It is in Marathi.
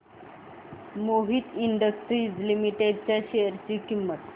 मोहित इंडस्ट्रीज लिमिटेड च्या शेअर ची किंमत